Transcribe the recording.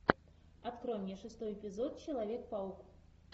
открой мне шестой эпизод человек паук